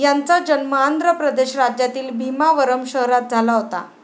यांचा जन्म आंध्र प्रदेश राज्यातील भीमावरम शहरात झाला होता.